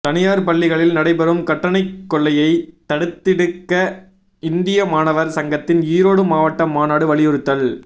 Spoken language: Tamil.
தனியார் பள்ளிகளில் நடைபெறும் கட்டணக் கொள்ளையை தடுத்திடுக இந்திய மாணவர் சங்கத்தின் ஈரோடு மாவட்ட மாநாடு வலியுறுத்தல்